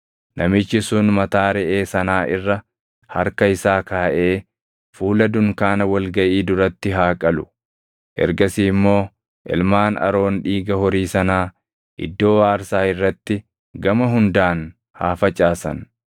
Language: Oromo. Namichi sun mataa reʼee sanaa irra harka isaa kaaʼee fuula dunkaana wal gaʼii duratti haa qalu. Ergasii immoo ilmaan Aroon dhiiga horii sanaa iddoo aarsaa irratti gama hundaan haa facaasan.